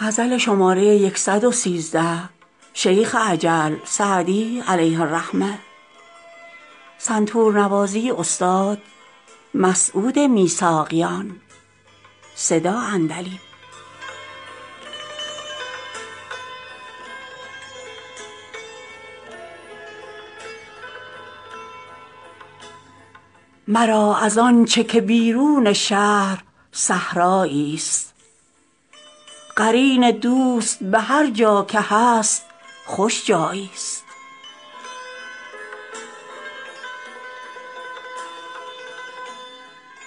مرا از آن چه که بیرون شهر صحرایی ست قرین دوست به هرجا که هست خوش جایی ست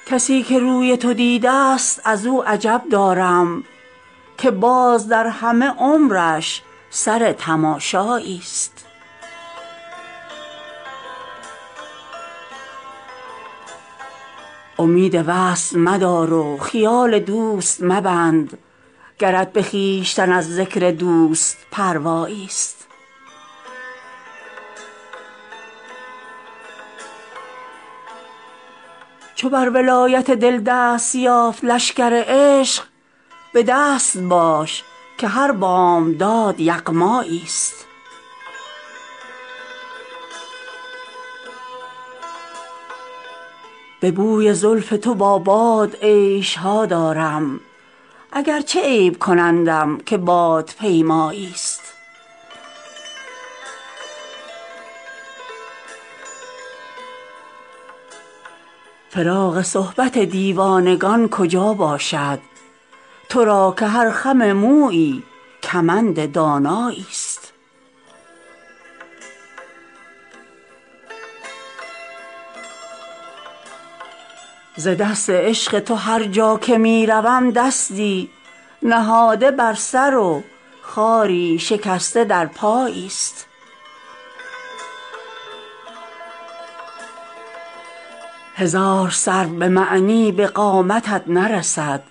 کسی که روی تو دیده ست از او عجب دارم که باز در همه عمرش سر تماشایی ست امید وصل مدار و خیال دوست مبند گرت به خویشتن از ذکر دوست پروایی ست چو بر ولایت دل دست یافت لشکر عشق به دست باش که هر بامداد یغمایی ست به بوی زلف تو با باد عیش ها دارم اگرچه عیب کنندم که بادپیمایی ست فراغ صحبت دیوانگان کجا باشد تو را که هر خم مویی کمند دانایی ست ز دست عشق تو هرجا که می روم دستی نهاده بر سر و خاری شکسته در پایی ست هزار سرو به معنی به قامتت نرسد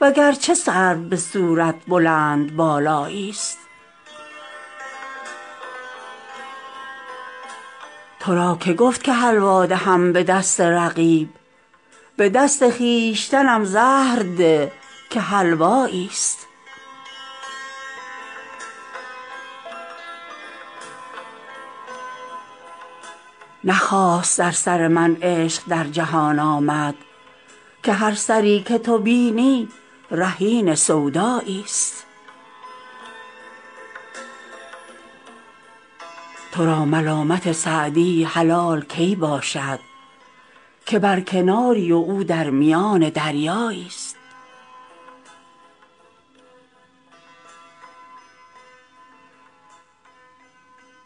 وگرچه سرو به صورت بلندبالایی ست تو را که گفت که حلوا دهم به دست رقیب به دست خویشتنم زهر ده که حلوایی ست نه خاص در سر من عشق در جهان آمد که هر سری که تو بینی رهین سودایی ست تو را ملامت سعدی حلال کی باشد که بر کناری و او در میان دریایی ست